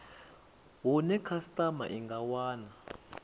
hune khasitama i nga wana